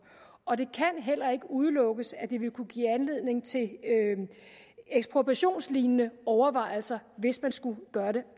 og det kan heller ikke udelukkes at det ville kunne give anledning til ekspropriationslignende overvejelser hvis man skulle gøre det